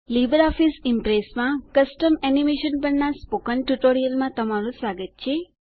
Libre Office ઈમ્પ્રેસમાં custom animation પરના spoken ટ્યુટોરીયલમાં તમારું સ્વાગત છે